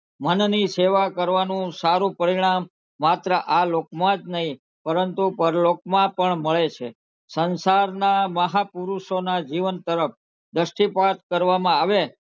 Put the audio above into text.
મનની સેવા કરવાનું સારું પરિણામ માત્ર આ લોકમાં જ નહીં પરંતુ પરલોકમાં પણ મળે છે સંસારનાં મહાપુરુષોના જીવન તરફ દ્રષ્ટિપાત કરવામાં આવે,